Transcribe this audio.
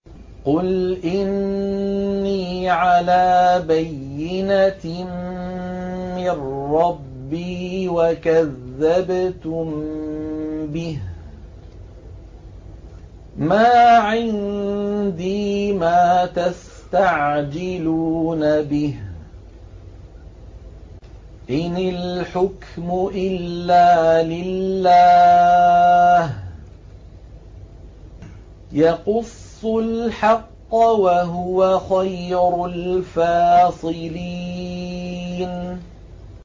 قُلْ إِنِّي عَلَىٰ بَيِّنَةٍ مِّن رَّبِّي وَكَذَّبْتُم بِهِ ۚ مَا عِندِي مَا تَسْتَعْجِلُونَ بِهِ ۚ إِنِ الْحُكْمُ إِلَّا لِلَّهِ ۖ يَقُصُّ الْحَقَّ ۖ وَهُوَ خَيْرُ الْفَاصِلِينَ